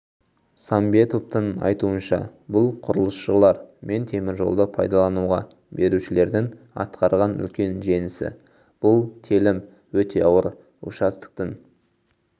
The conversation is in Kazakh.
сәмбетовтың айтуынша бұл құрылысшылар мен теміржолды пайдалануға берушілердің атқарған үлкен жеңісі бұл телім өте ауыр участоктің